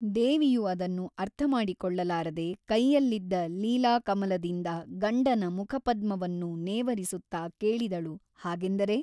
ದೇವಿಯು ಅದನ್ನು ಅರ್ಥಮಾಡಿಕೊಳ್ಳಲಾರದೆ ಕೈಯಲ್ಲಿದ್ದ ಲೀಲಾಕಮಲದಿಂದ ಗಂಡನ ಮುಖಪದ್ಮವನ್ನು ನೇವರಿಸುತ್ತಾ ಕೇಳಿದಳು ಹಾಗೆಂದರೆ ?